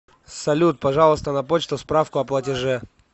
салют пожалуйста на почту справку о платеже